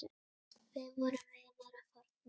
Við vorum vinir að fornu.